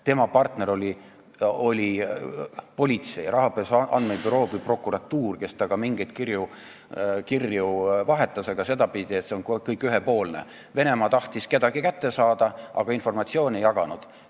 Tema partner oli politsei, rahapesu andmebüroo või prokuratuur, kes temaga mingeid kirju vahetas, aga see kõik oli ühepoolne: Venemaa tahtis kedagi kätte saada, aga informatsiooni ei jaganud.